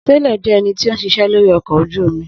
Sailor jẹ́ ẹnití ó ń ṣiṣẹ́ lórí ọkọ̀ ojú omi